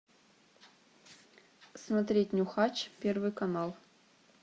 смотреть нюхач первый канал